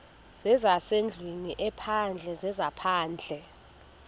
zezasendlwini ezaphandle zezaphandle